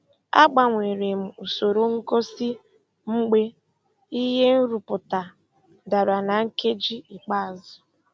Agbanwere m usoro ngosi mgbe ihe nrụpụta dara na nkeji ikpeazụ.